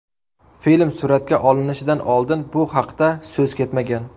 Film suratga olinishidan oldin bu haqda so‘z ketmagan.